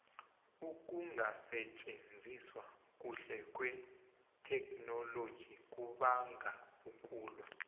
ukungasitjenziswa kuhle kwetheknoloji kubanga ukulwa